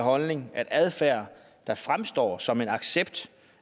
holdning at adfærd der fremstår som en accept